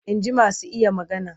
Inji masu iya magana.